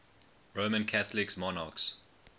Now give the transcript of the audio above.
roman catholic monarchs